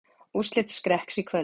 Úrslit Skrekks í kvöld